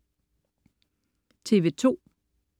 TV2: